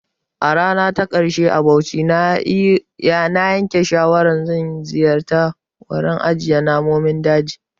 A rana ta ƙarshe a Bauchi, na yanke shawarar ziyartar wurin ajiyar Namun daji.